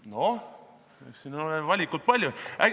Noh, eks siin ole valikut palju.